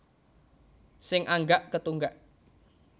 Sing anggak ketunggak